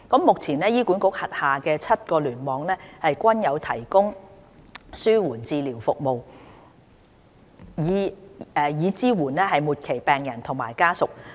目前，醫管局轄下7個聯網均有提供紓緩治療服務，以支援末期病人和家屬。